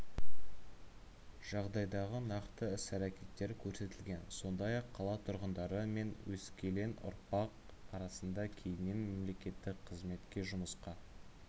жағдайдағы нақты іс-әрекеттер көрсетілген сондай-ақ қала тұрғындары мен өскелең ұрпақ арасында кейіннен мемлекеттік қызметке жұмысқа